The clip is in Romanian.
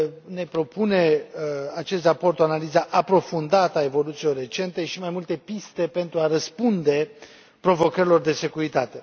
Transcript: Ne propune acest raport o analiză aprofundată a evoluțiilor recente și mai multe piste pentru a răspunde provocărilor de securitate.